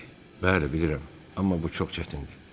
Bəli, bilirəm, amma bu çox çətindir.